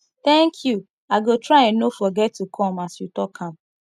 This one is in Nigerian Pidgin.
thank you i go try no forget to come as you talk am